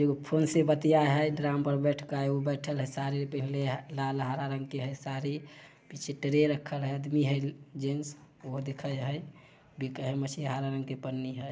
एगोफोन से बतियाय है ड्रम पर बैठ के साड़ी पिहिन्ले है लालहरे रंग की है साड़ी पीछे ट्रे रखा है आदमी है पीछे ट्रे रखा है आदमी है जेंट्स बिके हेय मछली है हरे-रंग की पन्नी है।